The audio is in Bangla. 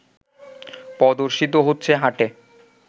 প্রদর্শিত হচ্ছে হাটে